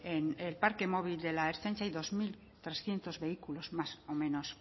en el parque móvil de la ertzaintza hay dos mil trescientos vehículos más o menos